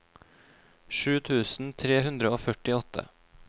sju tusen tre hundre og førtiåtte